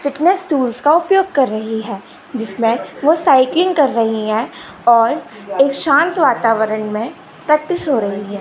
Fitness tools का उपयोग कर रही है जिसमें वो साइकिलिंग कर रही हैं और एक शांत वातावरण में प्रैक्टिस हो रही है।